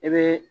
I bɛ